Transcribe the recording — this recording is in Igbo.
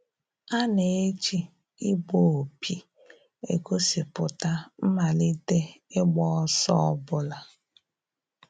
A na-eji igbu opi egosipụta mmalite ịgba ọsọ ọbụla